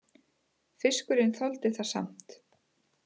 Fiskurinn þoldi það samt